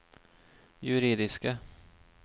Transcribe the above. juridiske